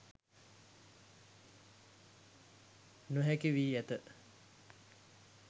නොහැකි වී ඇත